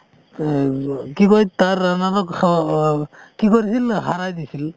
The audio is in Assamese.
কি কয় তাৰ কি কৰিছিল হাৰাই দিছিল